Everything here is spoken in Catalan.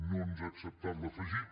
no ens ha acceptat l’afegit